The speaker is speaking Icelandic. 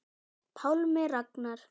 Pálmi Ragnar.